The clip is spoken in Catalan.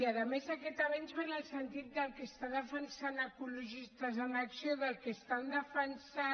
i a més aquest avenç ve en el sentit del que està defensant ecologistes en acció del que estan defensant